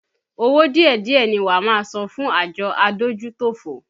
Owó díẹ̀díẹ̀ ni wá máa san fún àjọ adójútòfò